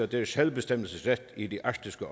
deres selvbestemmelsesret i det arktiske